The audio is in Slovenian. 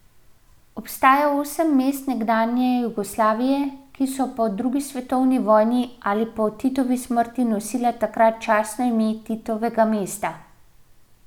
Obstaja osem mest nekdanje Jugoslavije, ki so po drugi svetovni vojni ali po Titovi smrti nosila takrat častno ime Titovega mesta.